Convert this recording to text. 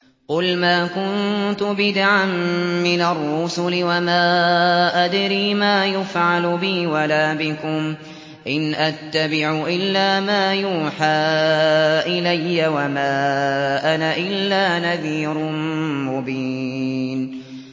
قُلْ مَا كُنتُ بِدْعًا مِّنَ الرُّسُلِ وَمَا أَدْرِي مَا يُفْعَلُ بِي وَلَا بِكُمْ ۖ إِنْ أَتَّبِعُ إِلَّا مَا يُوحَىٰ إِلَيَّ وَمَا أَنَا إِلَّا نَذِيرٌ مُّبِينٌ